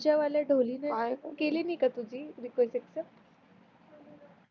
तिच्यावाल्या ढोली न काय केली नाही का तुझी रिक्वेस्ट एक्सेप्ट